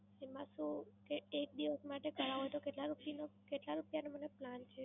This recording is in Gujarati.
એમાં શું? એ એક દિવસ માટે કરાવું તો કેટલા રૂપિયાનું કેટલા રૂપિયાનું મને Plan છે?